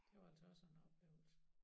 Det var altså også en oplevelse